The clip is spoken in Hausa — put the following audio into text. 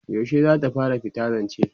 yaushe zata fara fita zance?